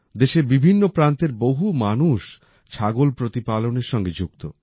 দেশের বিভিন্ন প্রান্তের বহু মানুষ ছাগল প্রতিপালনের সঙ্গে যুক্ত